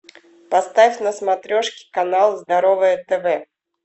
поставь на смотрешке канал здоровое тв